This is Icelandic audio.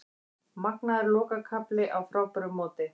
Magnaður lokakafli á frábæru móti